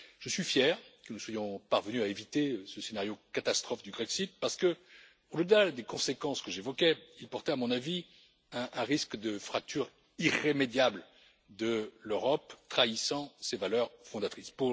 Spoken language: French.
Je suis fier que nous soyons parvenus à éviter ce scénario catastrophe du Grexit parce qu'au delà des conséquences que j'évoquais, il portait à mon avis un risque de fracture irrémédiable de l'Europe trahissant ses valeurs fondatrices.